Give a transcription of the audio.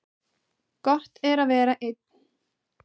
Gott er að vera einn.